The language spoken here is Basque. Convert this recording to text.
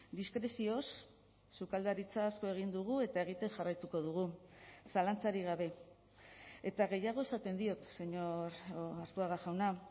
diskrezioz sukaldaritza asko egin dugu eta egiten jarraituko dugu zalantzarik gabe eta gehiago esaten diot señor arzuaga jauna